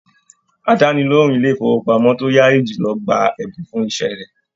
Àdánilohùn ilé ifowopamọ to yaayi jùlọ gbà ẹbùn fún iṣẹ rẹ.